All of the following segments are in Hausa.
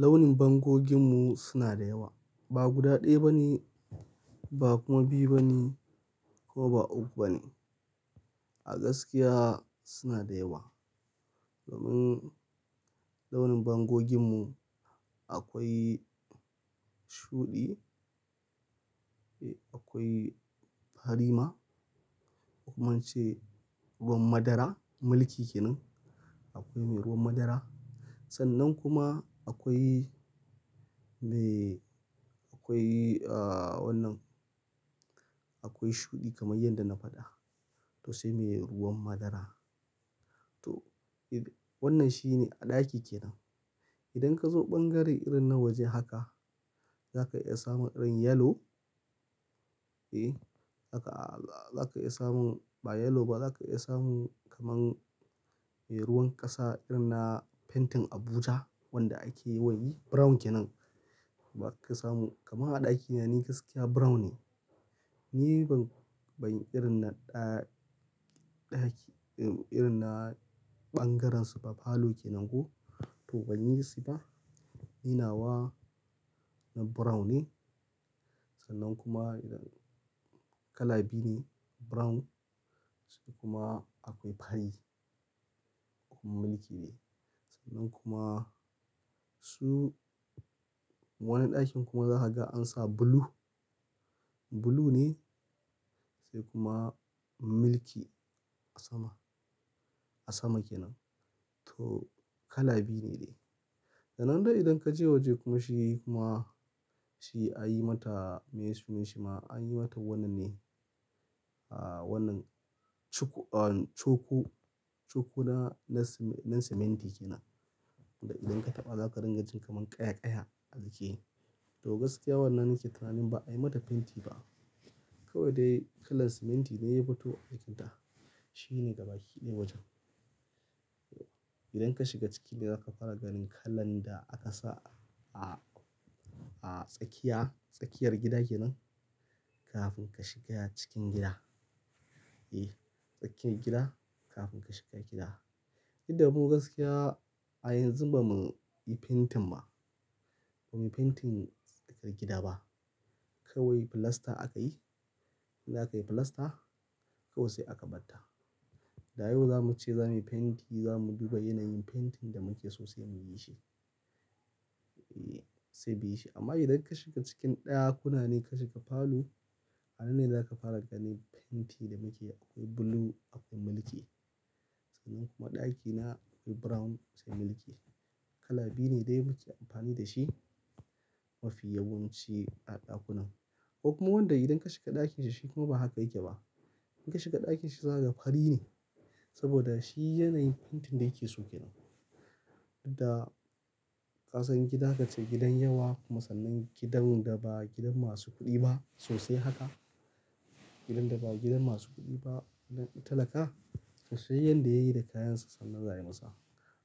Launin bangoginmu suna da yawa. Ba guda ɗaya ba ne, ba kuma biyu ba ne ko ba uku ba ne. A gaskiya suna da yawa. Domin launin bangoginmu akwai shuɗi, akwai fari ma, kuma ince ruwan madara milki kenan. Akwai mai ruwan madara. Sannan kuma akwai me, akwai, a, wannan, akwai shuɗi kamar yadda na faɗa. To sai mai ruwan madara. To wannan shine a ɗaki kenan. Idan ka zo ɓangare irin na waje haka, zaka iya samun irin yellow. E, zaka iya samun ba yellow ba, zaka iya samun kamar mai ruwan ƙasa irin na painting Abuja wanda ake yawan yi brown kenan. Ba ka samu kamar a ɗakina ne gaskiya brown ne. Ni ban, ban irin na ɗa, ɗaki, irin na ɓangarensu ba parlour kenan ko to ban yi shi ba. Ni nawa brown ne. Sannan kuma idan kala biyu ne brown sai kuma akwai fari kuma milki ne. Sannan kuma su wani ɗakin kuma zaka ga ansa blue. Blue ne sai kuma mulki a sama, a sama kenan. To kala biyu ne dai. Sannan dai idan kaje waje kuma shi kuma shi anyi mata mai sunan shi ma anyi mata wannan ne, a, wannan cuku, coku, coku na, na siminti kenan. Da idan ka taɓa za ka dinga jin kamar ƙaya ƙaya a ajiye. To gaskiya wannan nake tunani ba ai mata fenti ba. Kawai dai kalan siminti dai ya fito a cikinta. Shi ne gaba ki ne wajen. Idan ka shiga ciki dai za ka fara ganin kalan da aka sa a, a tsakiya, tsakiyar gida kenan kafin ka shiga cikin gida. Eh, tsakiyar gida kafin ka shiga gida. Duk da mu gaskiya a yanzu ba muyi fentin ba, ba muyi fentin tsakar gida ba. Kawai filasta aka yi. In zakai filasta kawai sai aka batta. Da yau za mu wuce za muyi fenti, za mu duba yanayin fentin da muke sosai mu yi shi. Sai da yi shi. Amma idan ka shiga cikin ɗakuna ne ka shiga falo, a nan ne za ka fara ganin fenti da muke akwai blue akwai milki. Sannan kuma ɗakina akwai brown sai milki. Kala biyu ne dai muke amfani da shi mafi yawanci a ɗakunan. Ko kuma wanda idan ka shiga ɗakin shi shi kuma ba haka yake ba. In ka shiga ɗakin shi zaga fari ne saboda shi yanayin fentin da yake so kenan. Da ƙasan gida ka ce gidan yawa kuma sannan gidan da ba gidan masu kuɗi ba sosai haka. Gidan da ba gidan masu kuɗi ba na talaka sosai yanda yayi da kayansa sannan za'ayi imasa.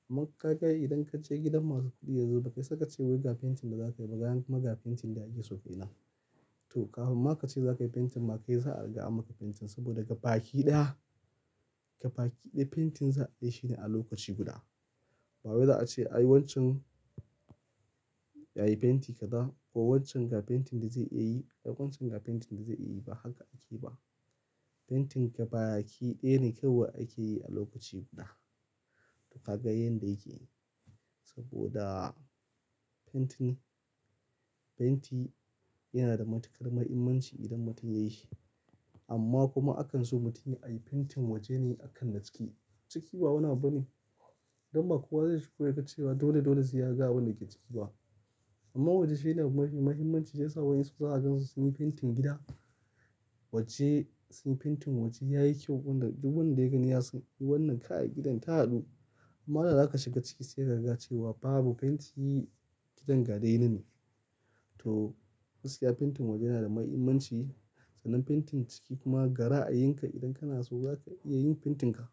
Amma ka ga idan ka je gidan masu kuɗi yanzu ba ba ka isa fentin da za ka yi ba ga magan fentin da ake so kenan. To kahun ma kace zakai fentin ma kai za'a ga ma fentin saboda gaba ki ɗaya. Gaba ki ɗaya fentin za'a yi shine a lokaci guda. Ba wai za'a ce ai wancan, yayi fenti kaza ko wancan ga fentin da zai iya yi ko wancan ga fentin da zai iya yi ba haka ake ba. Fentin gaba ki ɗaya ne kawai ake yi a lokaci guda. Ka ga yanda yake yi saboda fentin, fenti yana da matuƙar mahimmanci idan mutum ya yi shi. Amma kuma akan so mutum ai yi fentin waje ne akan na ciki. Ciki ba wani bane. Don ba kowa zai shigo yaga cewa dole dole zai ga abunda ke ciki ba. Amma waje shine mafi mahimmanci yasa wa 'yansu zaka gan su sunyi fentin gida. Waje sun fentin waje yayi kyau wanda duk wanda ya gani yasan wannan kai gidan ta haɗu. Amma da za kaga shiga ciki sai kaga cewa babu fenti gidan ga dai yanan ne. To gaskiya fentin waje yana da mahimmanci. Sannan fentin ciki kuma ga ra'ayin ka idan kana so zaka iya yin fentin ka.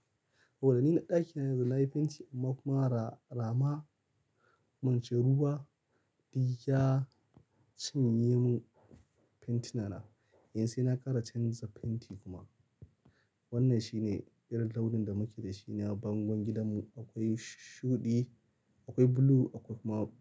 Saboda ni na ɗakina yanzu na yi fenti amma kuma ra-rama, mance ruwa duk ya cinye mun fentinana. Yanzu sai na ƙara canza fenti kuma. Wannan shine irin launin da muke da shi na bangon gidanmu. Akwai shuɗi, akwai blue akwai kuma.